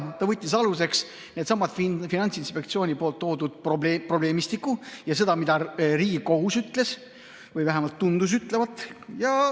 Ta võttis aluseks sellesama Finantsinspektsiooni esitatud probleemistiku ja selle, mida Riigikohus ütles või vähemalt tundus ütlevat.